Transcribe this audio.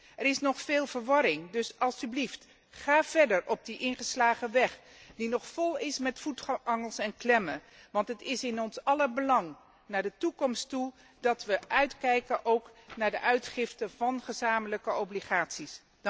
Er is nog veel verwarring, dus alstublieft, ga verder op die ingeslagen weg die nog vol is met voetangels en klemmen, want het is in ons aller belang met het oog op de toekomst dat we uitkijken naar de uitgifte van gezamenlijke obligaties.